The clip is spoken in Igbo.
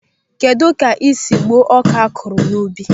Kedụ ka esi egbu ọka akụrụ n'ubi?